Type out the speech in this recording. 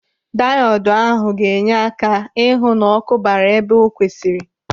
Diodu ahụ ga-enye aka ịhụ na ọkụ bara ebe o kwesịrị.